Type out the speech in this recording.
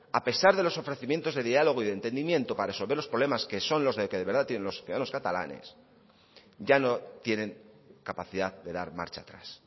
a pesar de los ofrecimientos de diálogo y de entendimiento para resolver los problemas que son los que de verdad tienen los ciudadanos catalanes ya no tienen capacidad de dar marcha atrás